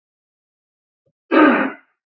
Fá aukalega ein mánaðarlaun